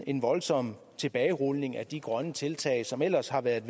en voldsom tilbagerulning af de grønne tiltag som ellers har været